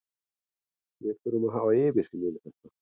Við þurfum að hafa yfirsýn yfir þetta.